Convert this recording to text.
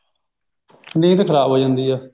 ਨੀਂਦ ਖ਼ਰਾਬ ਹੋਈ ਜਾਂਦੀ ਹੈ